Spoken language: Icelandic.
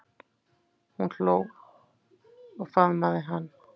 Hún hló og faðmaði hann.